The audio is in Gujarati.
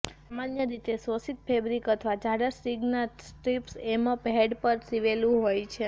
સામાન્ય રીતે શોષિત ફેબ્રિક અથવા જાડા સ્ટ્રિંગ્સના સ્ટ્રીપ્સ એમપ હેડ પર સીવેલું હોય છે